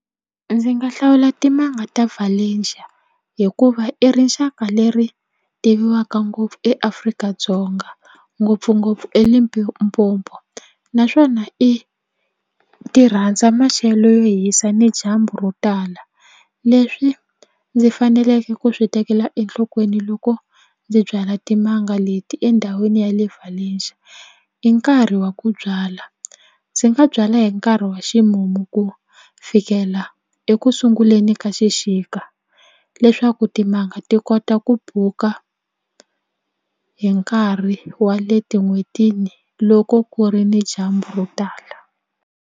Ndzi nga hlawula timanga ta Valencia hikuva i rixaka leri tiviwaka ngopfu eAfrika-Dzonga ngopfungopfu eLimpopo naswona i ti rhandza maxelo yo hisa ni dyambu ro tala leswi ndzi faneleke ku swi tekela enhlokweni loko ndzi byala timanga leti endhawini ya le Valencia i nkarhi wa ku byala ndzi nga byala hi nkarhi wa ximumu ku fikela ekusunguleni ka xixika leswaku timanga ti kota ku buka hi nkarhi wa le etin'hwetini loko ku ri ni dyambu ro tala.